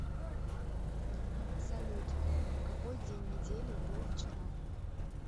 салют какой день недели был вчера